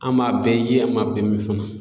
An m'a bɛɛ ye an m'a bɛɛ min fana.